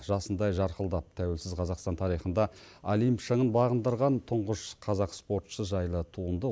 жасындай жарқылдап тәуелсіз қазақстан тарихында олимп шыңын бағындырған тұңғыш қазақ спортшысы жайлы туынды